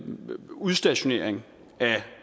med udstationering af